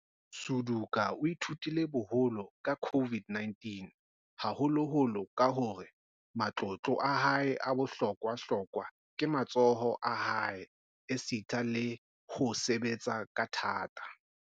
Suduka o ithutile boholo ka COVID-19, haholoholo ka hore matlotlo a hae a bohlokwa-hlokwa ke matsoho a hae esita le ho sebetsa ka thata.